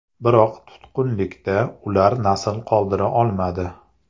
Biroq tutqunlikda ular nasl qoldira olmadi.